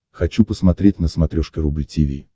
хочу посмотреть на смотрешке рубль ти ви